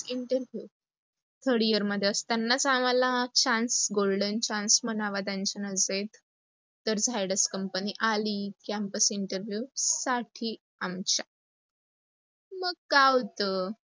interview, third year मध्ये असतानाच आम्हाला chance golden chance म्हणावा त्यांच्या नजरेत. तर zydas कंपनी आली, कॅम्पस interview साठी आमच्या, मग काय होत